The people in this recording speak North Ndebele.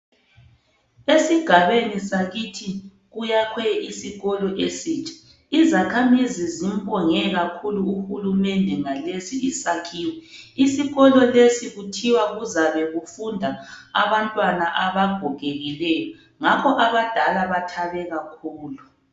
esigabeni sakithi kuyakhwe isikolo esitsha izakhamizi zimbonge kakhulu uhulumende ngalesi isakhiwo isikolo lesi kuthiwe kuzabe kufunda abantwana abagogekileyo ngakho ke abadala bathabe kakhulu